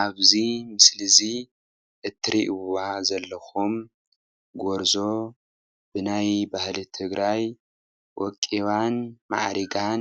ኣብዚ ምስሊ እዚ እትሪእዋ ዘለኹም ጐርዞ ብናይ ባህሊ ትግራይ ወቂባን ማዕሪጋን